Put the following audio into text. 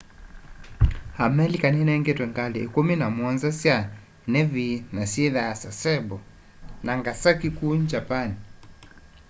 amelika ninengetwe ngali ikumi na muonza sya nevi na syithwaa sasebo nagasaki kuu japani